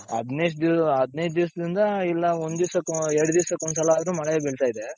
ಹದಿನೈದ್ ದಿಸ್ ಹದಿನೈದ್ ದಿಸದಿಂದ ಇಲ್ಲ ಒಂದ್ ದಿಸಕೋ ಎರಡು ದಿಸಕ್ಕೊಂದ್ ಸಲ ಆದ್ರು ಮಳೆ ಬೀಳ್ತಾ ಇದೆ.